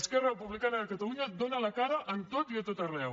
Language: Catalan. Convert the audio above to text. esquerra republicana de catalunya dóna la cara en tot i a tot arreu